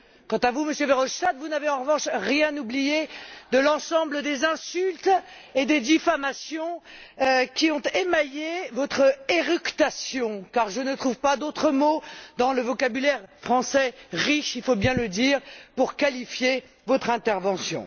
Quant à vous, Monsieur Verhofstadt, vous n'avez en revanche rien oublié de l'ensemble des insultes et des diffamations qui ont émaillé votre éructation, car je ne trouve pas d'autre mot dans le vocabulaire français riche il faut bien le dire pour qualifier votre intervention.